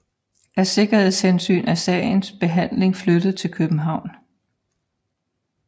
Af sikkerhedshensyn er sagens behandling flyttet til København